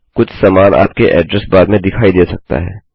कुछ समान आपके ऐड्रेस बार में दिखाई दे सकता है